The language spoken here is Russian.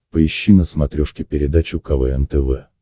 поищи на смотрешке передачу квн тв